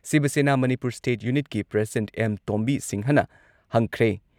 ꯁꯤꯕ ꯁꯦꯅꯥ ꯃꯅꯤꯄꯨꯔ ꯁ꯭ꯇꯦꯠ ꯌꯨꯅꯤꯠꯀꯤ ꯄ꯭ꯔꯁꯤꯗꯦꯟꯠ ꯑꯦꯝ. ꯇꯣꯝꯕꯤ ꯁꯤꯡꯍꯅ ꯍꯪꯈ꯭ꯔꯦ ꯫